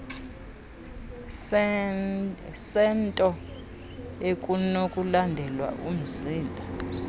sento ekunokulandelwa umzila